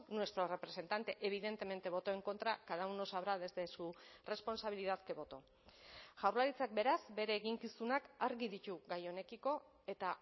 nuestro representante evidentemente votó en contra cada uno sabrá desde su responsabilidad qué votó jaurlaritzak beraz bere eginkizunak argi ditu gai honekiko eta